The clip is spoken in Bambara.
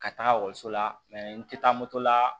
Ka taga ekɔliso la n tɛ taa moto la